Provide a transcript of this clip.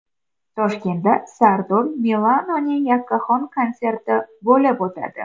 Toshkentda Sardor Milanoning yakkaxon konserti bo‘lib o‘tadi.